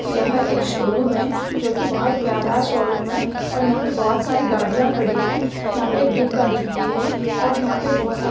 यह एक शोरूम है जो की बहुत प्यारा शोरूम है और यहा पे बहुत सारी गाड़िया खड़ी है यहा पे एक ड्यूक गाड़ी भी है और यहा पे बहुत सा--